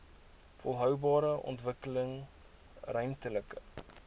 volhoubare ontwikkeling ruimtelike